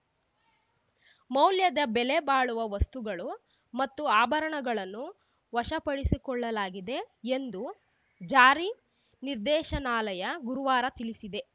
ಮೌಲ್ಯದ ಬೆಲೆಬಾಳುವ ವಸ್ತುಗಳು ಮತ್ತು ಆಭರಣಗಳನ್ನು ವಶಪಡಿಸಿಕೊಳ್ಳಲಾಗಿದೆ ಎಂದು ಜಾರಿ ನಿರ್ದೇಶನಾಲಯ ಗುರುವಾರ ತಿಳಿಸಿದೆ